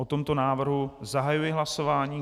O tomto návrhu zahajuji hlasování.